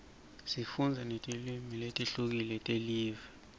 sifundza netilwimi letihlukile telive